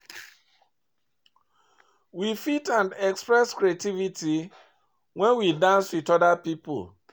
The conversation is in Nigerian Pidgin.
We fit and express creativity when we dance with oda pipo